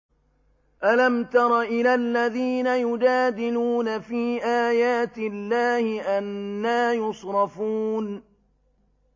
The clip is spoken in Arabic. أَلَمْ تَرَ إِلَى الَّذِينَ يُجَادِلُونَ فِي آيَاتِ اللَّهِ أَنَّىٰ يُصْرَفُونَ